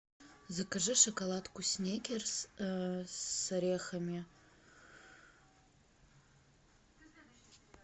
закажи шоколадку сникерс с орехами